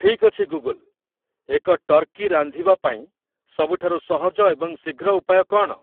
ଠିକ୍ ଅଛି ଗୁଗୁଲ୍, ଏକ ଟର୍କୀ ରାନ୍ଧିବା ପାଇଁ ସବୁଠାରୁ ସହଜ ଏବଂ ଶୀଘ୍ର ଉପାୟ କ'ଣ ?